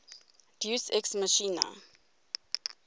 deus ex machina